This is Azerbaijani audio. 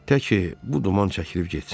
Tək ki bu duman çəkilib getsin.